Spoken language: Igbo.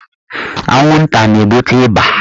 Anwụnta na-ebute ịba.